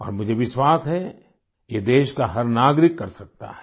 और मुझे विश्वास है ये देश का हर नागरिक कर सकता है